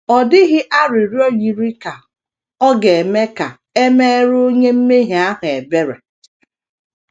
Ọ dịghị arịrịọ yiri ka ọ ga - eme ka e meere onye mmehie ahụ ebere.